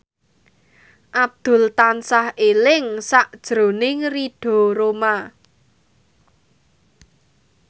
Abdul tansah eling sakjroning Ridho Roma